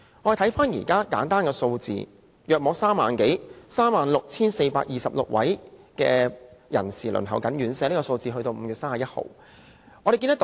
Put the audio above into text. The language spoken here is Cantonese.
我們且看看一些簡單數字，截止5月31日，大概有 36,426 位人士輪候院舍。